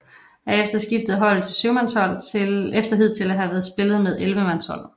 Herefter skiftede holdet til syvmandshold efter hidtil at have spillet med ellevemandshold